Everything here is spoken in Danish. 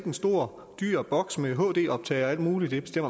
en stor dyr boks med hd optager og alt muligt ja det